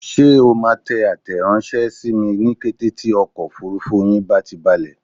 Ṣé o máa tẹ àtẹranṣẹ sími ní kété tí ọkọ̀ òfurufú yín bá ti balẹ̀?